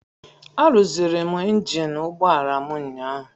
Arụziri m injin ụgbọala m ụnyaahụ.